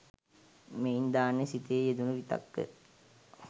මෙයින් ධ්‍යාන සිතෙහි යෙදුණූ විතක්ක